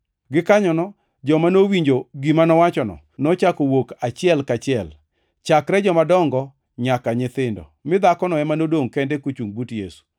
Gikanyono, joma nowinjo gima nowachono nochako wuok achiel kaachiel, chakre jomadongo nyaka nyithindo mi dhakono ema nodongʼ kende kochungʼ but Yesu.